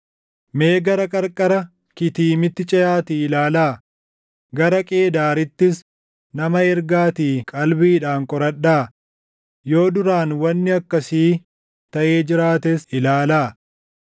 Mee gara qarqara Kitiimitti ceʼaatii ilaalaa; gara Qeedaarittis nama ergaatii qalbiidhaan qoradhaa; yoo duraan wanni akkasii taʼee jiraates ilaalaa.